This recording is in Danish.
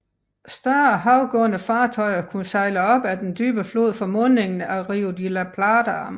Større havgående fartøjer kunne sejle op ad den dybe flod fra mundingen af Rio de la Plata